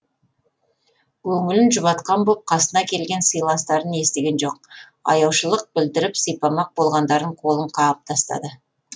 көңілін жұбатқан боп қасына келген сыйластарын естіген жоқ аяушылық білдіріп сипамақ болғандардың қолын қағып тастады